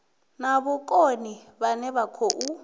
na vhukoni vhane vha khou